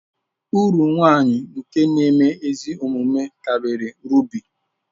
Uru nwanyi nke nēme ezi omume kariri rubi.